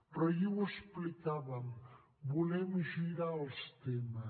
però ahir ho explicàvem volem girar els temes